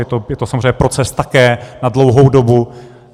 Je to samozřejmě proces také na dlouhou dobu.